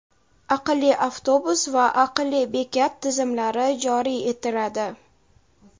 "aqlli avtobus" va "aqlli bekat" tizimlari joriy etiladi.